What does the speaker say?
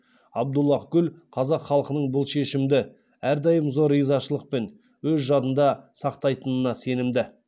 абдуллаһ гүл қазақ халқының бұл шешімді әрдайым зор ризашылықпен өз жадында сақтайтынына сенімді